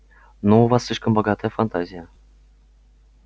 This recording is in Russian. ну у вас слишком богатая фантазия